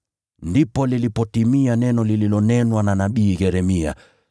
Ndipo lilipotimia neno lililonenwa na nabii Yeremia.